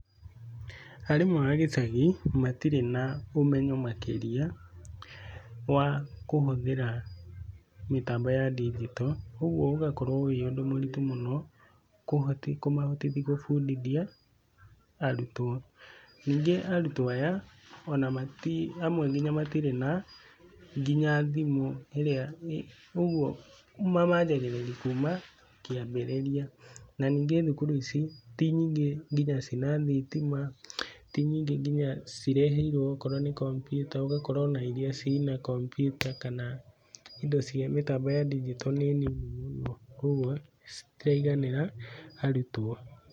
Arimũ a gĩcagi matirĩ na ũmenyo makĩria wa kũhũthĩra mĩtambo ya ndigito, ũguo ũgakorwo ũrĩ ũndũ mũritũ mũno kũmahotithia kũbundithia arutwo. Ningĩ arutwo aya amwe matirĩ nginya na thimũ, ũguo mamanjagĩrĩria kuma kĩambĩrĩria. Na ningĩ thukuru ici ti nyingĩ nginya cĩ na thitima, ti nyingĩ nginya cireheirwo akorwo nĩ kompiuta, ũgakora ona iria cirĩ na kompiuta kana mĩtambo ya ndigito nĩ nini mũno koguo citiraiganĩra arutwo.